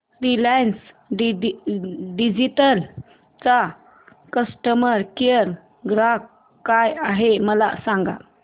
Reliance digital चा customer care क्रमांक काय आहे मला सांगा